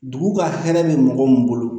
Dugu ka hɛrɛ bɛ mɔgɔ min bolo